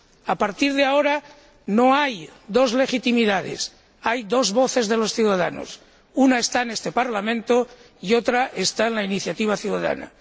A partir de ahora no hay dos legitimidades, hay dos voces de los ciudadanos una está en este Parlamento y otra está en la iniciativa ciudadana.